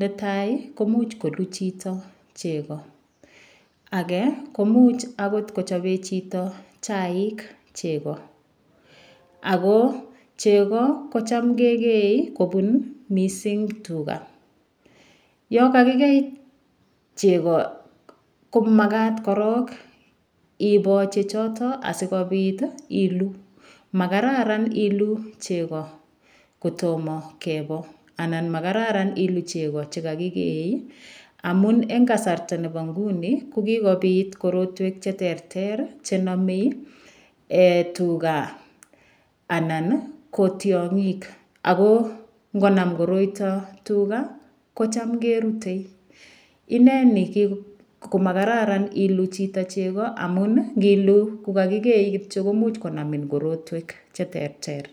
netai komuch kolu chito cheko ake komuch akot kochopee chito chaik cheko ako cheko kocham kekei kobun mising' tuga yo kakikei cheko komakat korok iboo chechoto asikobit ilu makararan ilu cheko kotomo kebo anan makararan ilu cheko chekakikee amun eng' kasarta nebo nguni kokikobit korotwek cheterter chenomei tuga anan ko tyong'ik ako ngonam koroito tuga kocham kerutei ineni komakararan ilu chito cheko amun ngilu kukakikei kityo komuch korotwek cheterter